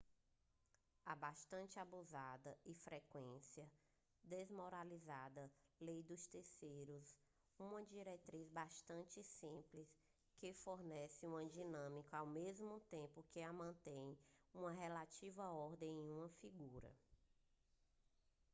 a bastante abusada e frequentemente desmoralizada lei dos terceiros é uma diretriz bastante simples que fornece uma dinâmica ao mesmo tempo que mantém uma relativa ordem em uma figura